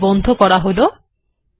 তাই এটিকে বন্ধ করা যাক